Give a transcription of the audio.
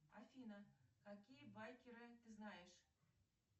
афина какие байкеры ты знаешь